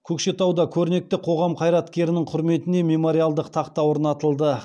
көкшетауда көрнекті қоғам қайраткерінің құрметіне мемориалдық тақта орнатылды